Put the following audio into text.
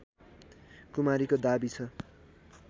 कुमारीको दाबी छ